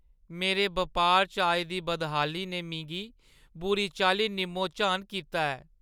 मेरे बपार च आई दी बदहाली ने मिगी बुरी चाल्ली निम्मो-झान कीता ऐ।